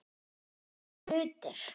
Hvaða hlutir?